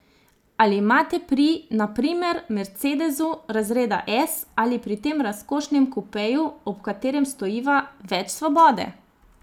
Ali imate pri, na primer, mercedesu razreda S ali pri tem razkošnem kupeju, ob katerem stojiva, več svobode?